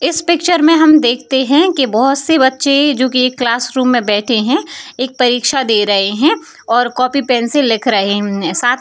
इस पिक्चर में हम देखते है कि बहुत से बच्चे जो की एक क्लास रूम मे बैठे हैं एक परीक्षा दे रहे है और कॉपी पेन से लिख रहे हैं साथ --